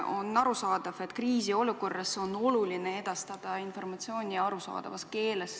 On arusaadav, et kriisiolukorras on oluline edastada informatsiooni arusaadavas keeles.